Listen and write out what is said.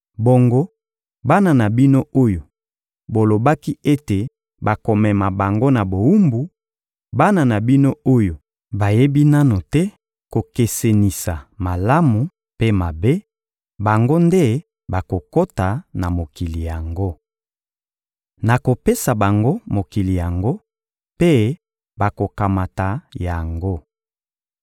Bongo, bana na bino oyo bolobaki ete bakomema bango na bowumbu, bana na bino oyo bayebi nanu te kokesenisa malamu mpe mabe, bango nde bakokota na mokili yango. Nakopesa bango mokili yango, mpe bakokamata yango.